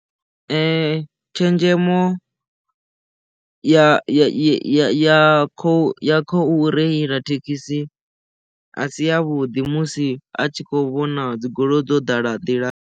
Tshenzhemo ya ya ya khou reila thekhisi a si yavhuḓi musi a tshi kho vhona dzigoloi dzo ḓala nḓi la.